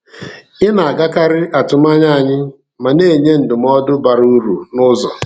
Ị na-agakarị atụmanya anyị ma na-enye ndụmọdụ bara uru n’ụzọ.